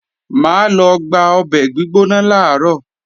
Mà á lọ gba ọbẹ̀ gbígbóná làárọ̀